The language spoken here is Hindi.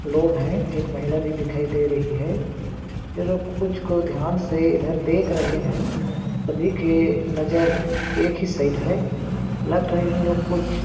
लोग है एक महिला भी दिखाई दे रही है ये लोग कुछ को ध्यान से इधर देख रहे है सभी के नज़र एक ही साइड है लग रहा है इन लोग कुछ--